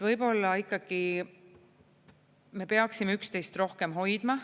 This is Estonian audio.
Võib-olla ikkagi me peaksime üksteist rohkem hoidma.